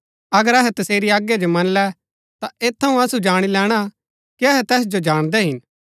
अगर अहै तसेरी आज्ञा जो मनलै ता ऐत थऊँ असु जाणी लैणा कि अहै तैस जो जाणदै हिन